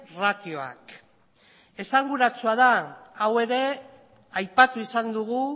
ratioak esanguratsua da hau ere aipatu izan dugu